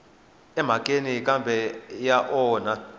emhakeni kambe a ya onhi